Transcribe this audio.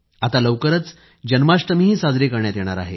आता लवकरच जन्माष्टमीही साजरी करण्यात येणार आहे